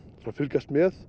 og fylgjast með